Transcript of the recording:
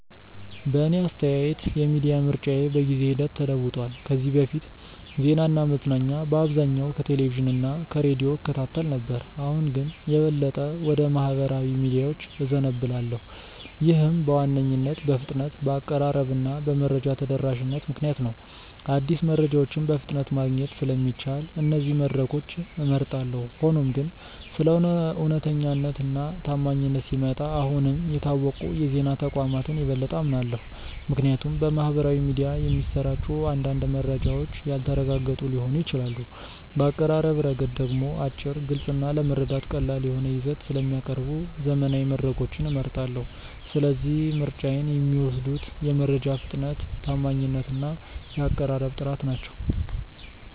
በእኔ አስተያየት የሚዲያ ምርጫዬ በጊዜ ሂደት ተለውጧል። ከዚህ በፊት ዜናና መዝናኛ በአብዛኛው ከቴሌቪዥን እና ከሬዲዮ እከታተል ነበር፣ አሁን ግን የበለጠ ወደ ማኅበራዊ ሚዲያዎች እዘነብላለሁ። ይህም በዋነኝነት በፍጥነት፣ በአቀራረብ እና በመረጃ ተደራሽነት ምክንያት ነው። አዲስ መረጃዎችን በፍጥነት ማግኘት ስለሚቻል እነዚህን መድረኮች እመርጣለሁ። ሆኖም ግን ስለ እውነተኛነት እና ታማኝነት ሲመጣ አሁንም የታወቁ የዜና ተቋማትን የበለጠ አምናለሁ፣ ምክንያቱም በማኅበራዊ ሚዲያ የሚሰራጩ አንዳንድ መረጃዎች ያልተረጋገጡ ሊሆኑ ይችላሉ። በአቀራረብ ረገድ ደግሞ አጭር፣ ግልጽ እና ለመረዳት ቀላል የሆነ ይዘት ስለሚያቀርቡ ዘመናዊ መድረኮችን እመርጣለሁ። ስለዚህ ምርጫዬን የሚወስኑት የመረጃ ፍጥነት፣ ታማኝነት እና የአቀራረብ ጥራት ናቸው።